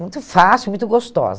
Muito fácil, muito gostosa.